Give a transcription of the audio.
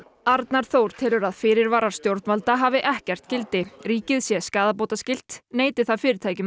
arnar Þór telur að fyrirvarar stjórnvalda hafi ekkert gildi ríkið sé skaðabótaskylt neiti það fyrirtækum